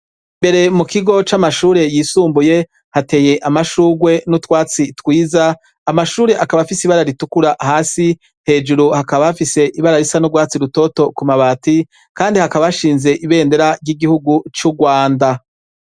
Imbere mu kigo c'amashure yisumbuye hateye amashurwe n'utwatsi twiza, amashure akaba afise ibara ritukura hasi, hejuru hakaba hafise ibara risa n'urwatsi rutoto ku mabati, kandi hakaba hashinze ibendera y'igihugu c'Urwanda.